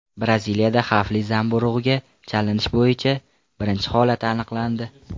Braziliyada xavfli zamburug‘ga chalinish bo‘yicha birinchi holat aniqlandi.